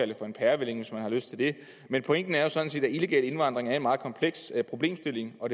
det for en pærevælling hvis man har lyst til det men pointen er jo sådan set at illegal indvandring er en meget kompleks problemstilling og